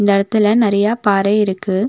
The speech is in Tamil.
இந்த எடத்துல நெறையா பாறை இருக்கு.